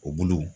O bolo